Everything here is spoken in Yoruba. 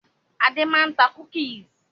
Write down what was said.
Adé máa ń ta "cookies".